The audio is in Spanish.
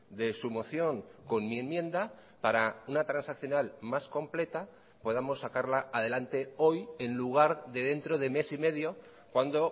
de su moción con mi enmienda para una transaccional más completa podamos sacarla adelante hoy en lugar de dentro de mes y medio cuando